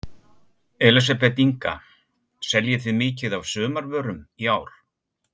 Elísabet Inga: Seljið þið mikið af sumarvörum í ár?